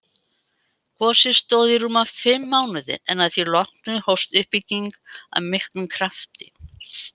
Gosið stóð í rúma fimm mánuði en að því loknu hófst uppbygging af miklum krafti.